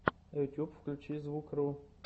ютьюб включи звукру